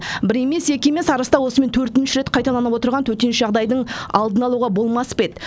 бір емес екі емес арыста осымен төртінші рет қайталанып отырған төтенше жағдайдың алдын алуға болмас па еді